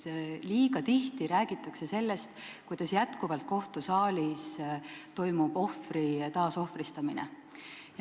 Liiga tihti räägitakse sellest, et kohtusaalis toimub endiselt ohvri taasohvristamine.